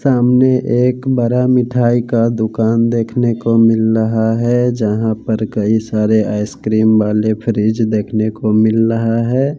सामने एक बरा मिठाई का दुकान देखने को मिल रहा है जहां पर कई सारे आइसक्रीम वाले फ्रिज देखने को मिल रहा हैं।